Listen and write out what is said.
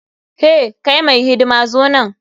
Hey! kai mai hidima zo nan.